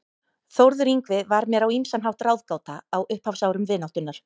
Þórður Yngvi var mér á ýmsan hátt ráðgáta á upphafsárum vináttunnar.